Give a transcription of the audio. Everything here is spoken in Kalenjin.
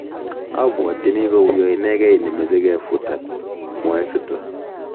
"Abwaotini kouya inegei ne meche ke futan", mwae Sutton